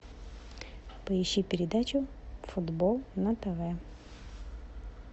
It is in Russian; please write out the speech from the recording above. поищи передачу футбол на тв